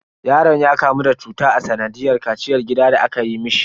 Yaron ya kamu da cuta a sanadiyar kaciyar gida da aka yi mishi.